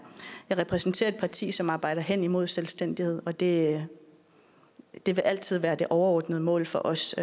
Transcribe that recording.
jeg repræsenterer et parti som arbejder hen imod selvstændighed og det vil altid være det overordnede mål for os